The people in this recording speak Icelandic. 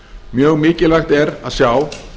mjög mikilvægt er að sjá